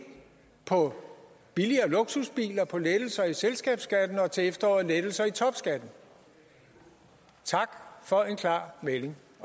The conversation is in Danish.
på billigere luksusbiler på lettelser i selskabsskatten og til efteråret til lettelser i topskatten tak for en klar melding